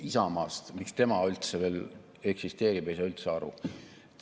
Isamaast, sellest, miks tema üldse veel eksisteerib, ei saa üldse aru.